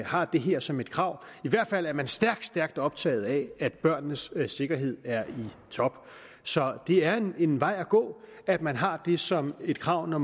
har det her som et krav i hvert fald er man stærkt stærkt optaget af at børnenes sikkerhed er i top så det er en vej at gå at man har det som et krav når